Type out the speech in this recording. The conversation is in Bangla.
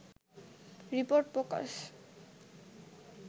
রিপোর্ট প্রকাশ